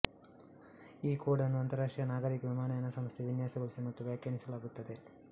ಈ ಕೋಡ್ ಅನ್ನು ಅಂತರರಾಷ್ಟ್ರೀಯ ನಾಗರಿಕ ವಿಮಾನಯಾನ ಸಂಸ್ಥೆ ವಿನ್ಯಾಸಗೊಳಿಸಿದೆ ಮತ್ತು ವ್ಯಾಖ್ಯಾನಿಸಲಾಗುತ್ತದೆ